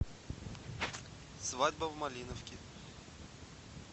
свадьба в малиновке